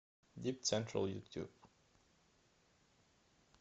дипцентрал ютуб